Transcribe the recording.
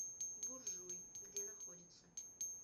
буржуй где находится